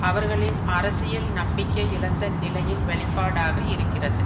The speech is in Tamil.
அவர்களின் அரசியல் நம்பிக்கை இழந்த நிலையின் வெளிப்பாடாக இருக்கிறது